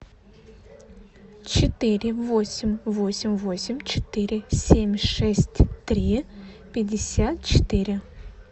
четыре восемь восемь восемь четыре семь шесть три пятьдесят четыре